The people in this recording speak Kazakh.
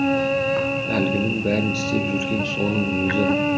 әлгінің бәрін істеп жүрген соның өзі